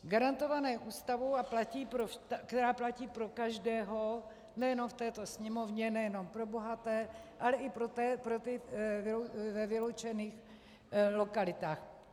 Garantované Ústavou, která platí pro každého nejenom v této Sněmovně, nejenom pro bohaté, ale i pro ty ve vyloučených lokalitách.